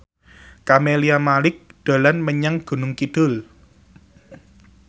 Camelia Malik dolan menyang Gunung Kidul